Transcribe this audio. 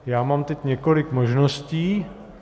Já mám teď několik možností.